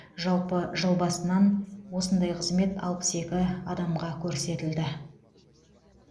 жалпы жыл басынан осындай қызмет алпыс екі адамға көрсетілді